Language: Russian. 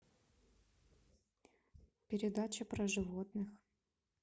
передача про животных